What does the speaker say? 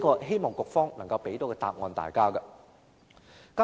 希望局方能夠給大家一個答案。